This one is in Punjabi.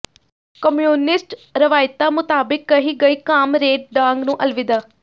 ਕਮਿਊਨਿਸਟ ਰਵਾਇਤਾਂ ਮੁਤਾਬਿਕ ਕਹੀ ਗਈ ਕਾਮਰੇਡ ਡਾਂਗ ਨੂੰ ਅਲਵਿਦਾ